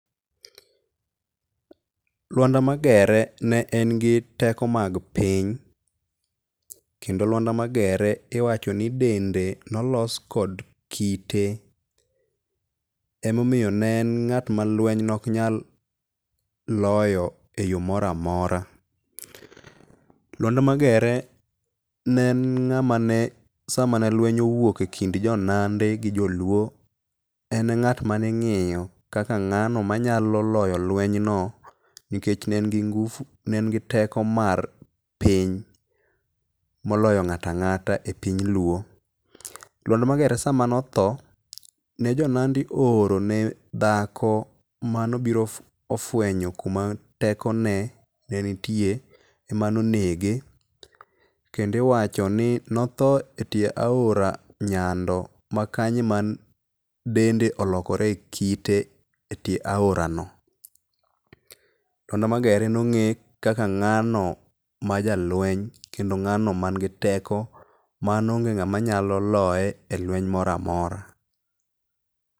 Lwanda Magere ne en gi teko mag piny. Kendo Lwanda Magere iwacho ni dende ne olos kod kite. Omomiyo ne en ng'at ma lweny ne ok nyal loyo e yo moro amora. Lwanda Magere ne en ng'ama ne sama ne lweny owuok e kind jo Nandi gi jo Luo en e ngat maning'iyo kaka ng'ano manyalo loyo lweny no nikech ne en gi teko mar piny moloyo ng'ato ang'ata e piny luo. Lwanda Magere sama ne otho, ne jo Nandi o oro ne dhaki manobiro ofwenyo kuma teko ne nitie emanonege. Kendo iwacho ni notho e tie aora nyando ma kanyo e ma dende olokore kite e tie aora no. Lwanda Magere no ng'e kaka ng'ano ma jalweny kendo ng'ano man gi teko ma onge ng'ama loye e lweny moro amora.